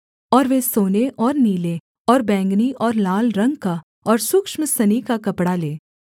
और वे सोने और नीले और बैंगनी और लाल रंग का और सूक्ष्म सनी का कपड़ा लें